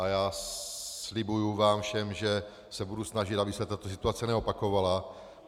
A já slibuji vám všem, že se budu snažit, aby se tato situace neopakovala.